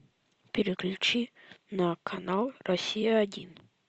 переключи на канал россия один